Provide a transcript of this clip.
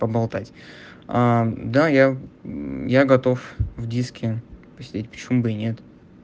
поболтать ээ да я я готов в диске посидеть почему бы и нет